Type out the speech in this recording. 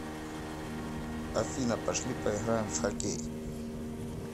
афина пошли поиграем в хоккей